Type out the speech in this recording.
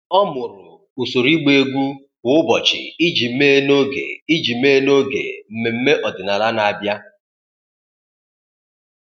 Ọ́ mụrụ usoro ị́gbá égwu kwa ụ́bọ̀chị̀ iji mèé n’ógè iji mèé n’ógè mmemme ọ́dị́nála nà-àbị́á.